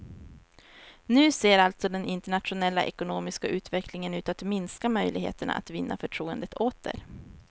Nu ser alltså den internationella ekonomiska utvecklingen ut att minska möjligheterna att vinna förtroendet åter.